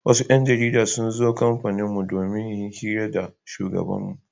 Wasu 'yan jarida sun zo kamfaninmu don yin hira da shugabanmu.